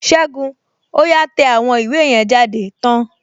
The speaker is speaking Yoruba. Ségun, ó yá tẹ àwọn ìwé yẹn jáde tán!